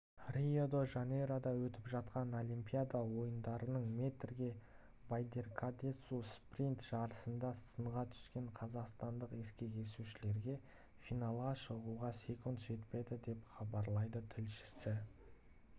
рио-де-жанейрода өтіп жатқан олимпиада ойындарының метрге байдаркадаесу спринт жарысында сынға түскен қазақстандық ескек есушілерге финалға шығуға секунд жетпеді деп хабарлайды тілшісі